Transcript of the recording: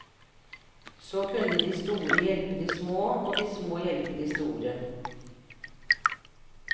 Så kunne de store hjelpe de små og de små hjelpe de store.